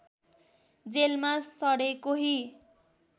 जेलमा सडे कोही